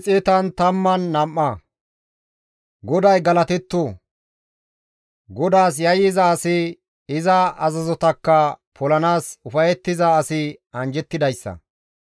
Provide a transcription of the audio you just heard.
GODAY galatetto! GODAAS yayyiza asi, iza azazotakka polanaas ufayettiza asi anjjettidayssa.